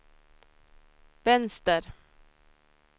vänster